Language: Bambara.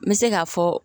N bɛ se k'a fɔ